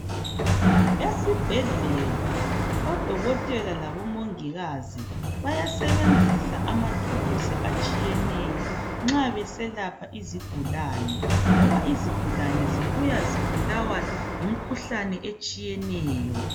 Esibhedlela odokotela labomongikazi bayasebenzisa amathuluzi atshiyeneyo nxa beselapha izigulane ngoba izigulane sibuya zibulawa yimikhuhlane etshiyeneyo.